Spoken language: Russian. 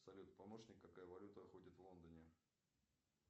салют помощник какая валюта ходит в лондоне